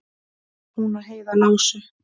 Hún og Heiða lásu